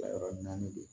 La yɔrɔ naani de don